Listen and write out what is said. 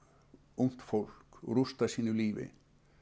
ungt fólk rústa sínu lífi